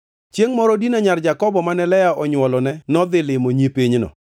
Chiengʼ moro Dina, nyar Jakobo mane Lea onywolone nodhi limo nyi pinyno.